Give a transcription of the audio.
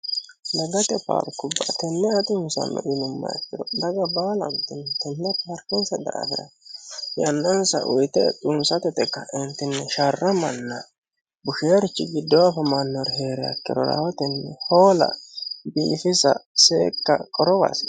Daggate paarikkuba tenne ayi xunissano yinumaha ikiro dagga baalanitini tenne paarikenissa daafira yannanisa uyitte xunissate yite kaenitini sharramana bushinorichi giddo afamanoha heeriha ikkiro rahotteni hoola biifissa seeka qorrowa hasisanno